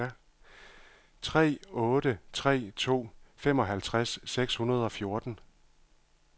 tre otte tre to femoghalvtreds seks hundrede og fjorten